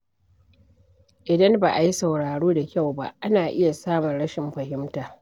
Idan ba a yi sauraro da kyau ba, ana iya samun rashin fahimta.